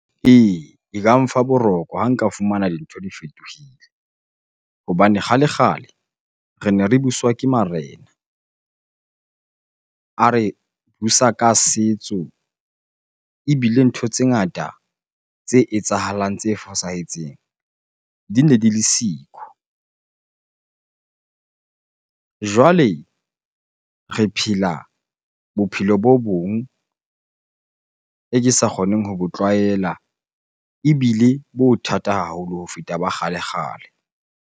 Ee, e ka mfa boroko ha nka fumana dintho di fetohile. Hobane kgale-kgale re ne re buswa ke marena, a re busa ka setso. Ebile ntho tse ngata tse etsahalang, tse fosahetseng di ne di le siko. Jwale re phela bophelo bo bong e ke sa kgoneng ho bo tlwaela ebile bo thata haholo ho feta ba kgale-kgale.